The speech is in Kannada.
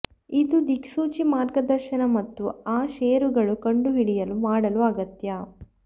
ಇದು ದಿಕ್ಸೂಚಿ ಮಾರ್ಗದರ್ಶನ ಮತ್ತು ಆ ಷೇರುಗಳು ಕಂಡುಹಿಡಿಯಲು ಮಾಡಲು ಅಗತ್ಯ